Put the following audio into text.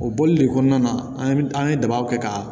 O bɔli de kɔnɔna na an ye an ye dabaw kɛ ka